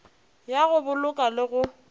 ya go boloka le go